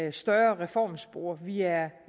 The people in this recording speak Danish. et større reformspor vi er